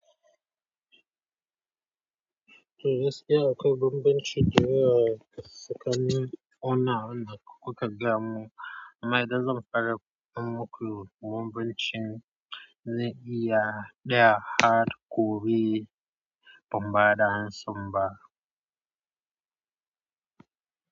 Toh gaskiya akwai bambanci tare da kuka gaya mu amma idan zan ƙara muku bambancin, zai iya ɗaya har kuri ban baɗa ansan ba.